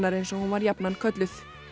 eins og hún var jafnan kölluð